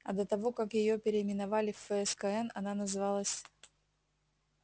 а до того как её переименовали в фскн она называлась